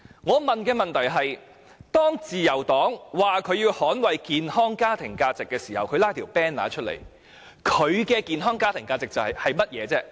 我的問題是，自由黨拉起橫額說要捍衞健康家庭價值，他們所指的健康家庭價值是甚麼？